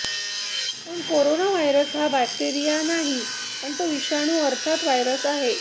पण corona virus हा bacteria नाही तर तो विषाणू अर्थात व्हायरस आहे